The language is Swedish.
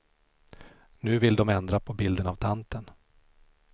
Nu vill de ändra på bilden av tanten.